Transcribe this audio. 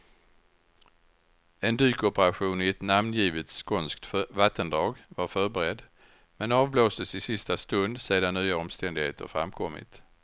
En dykoperation i ett namngivet skånskt vattendrag var förberedd, men avblåstes i sista stund sedan nya omständigheter framkommit.